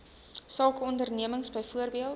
sake ondernemings byvoorbeeld